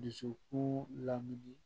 Dusukun lamini